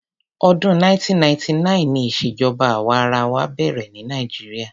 Ọdún 1999 ni ìṣèjọba àwa arawa bẹ̀rẹ̀ ní Nigeria.